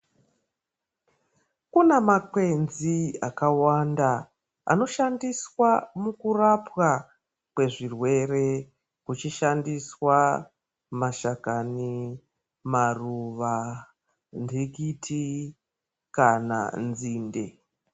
Kune makwenzi akawanda ano sandiswa muku rapwa kwe zvirwere ku chishandiswa mashakani maruva ndikiti kana nzinde.